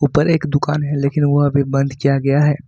पर एक दुकान है लेकिन वह अभी बंद किया गया है।